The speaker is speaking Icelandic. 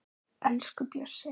Elsku Bjössi